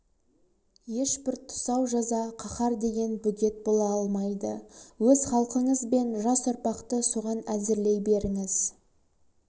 ешбір тұсау жаза қаһар деген бөгет бола алмайды өз халқыңыз бен жас ұрпақты соған әзірлей беріңіз